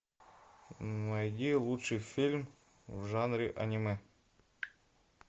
найди лучший фильм в жанре аниме